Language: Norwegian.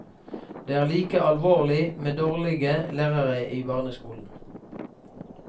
Det er like alvorlig med dårlige lærere i barneskolen.